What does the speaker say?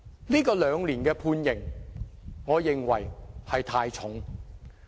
這項兩年的判刑，我認為太重。